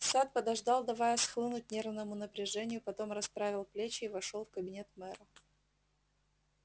сатт подождал давая схлынуть нервному напряжению потом расправил плечи и вошёл в кабинет мэра